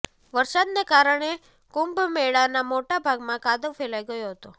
વરસાદને કારણે કુંભમેળાના મોટા ભાગમાં કાદવ ફેલાઈ ગયો હતો